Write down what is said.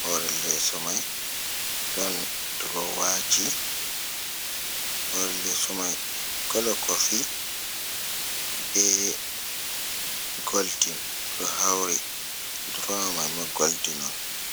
hoore leeso may. Ɗon durowaaji, hoore leeso may bo, kolo kofi be goldin ɗo hawri, duroowa may ma goldin on.